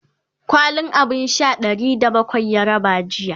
kwalin abun Sha Ɗari da bakwai ya raba jiya